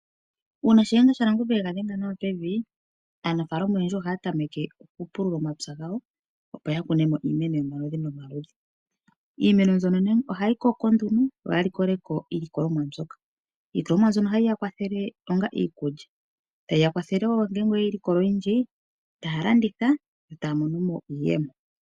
Uuna Shiyenga shaNangombe ega dhenga nawa pevi, aanafaalama oyendji ohaya tameke okupulula omapya gawo opo yakune mo iimeno yomaludhi nomaludhi . Iimeno mbyono ohayi koko, yoya likole ko iilikolomwa mbyoka. Iilikolomwa mbyoka ohayi ya kwathele okulya. Otayeyi kwathele wo ngele yeyi teya oyindji, yimwe taya landitha.